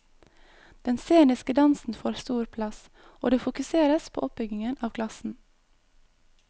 Den sceniske dansen får stor plass, og det fokuseres på oppbyggingen av klassen.